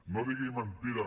no digui mentida